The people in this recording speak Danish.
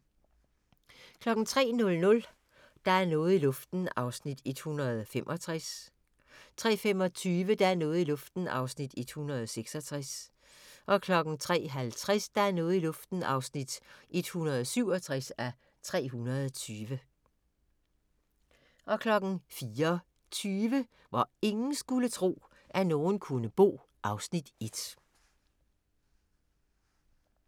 03:00: Der er noget i luften (165:320) 03:25: Der er noget i luften (166:320) 03:50: Der er noget i luften (167:320) 04:20: Hvor ingen skulle tro, at nogen kunne bo (Afs. 1)